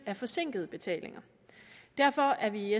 af forsinkede betalinger derfor er vi i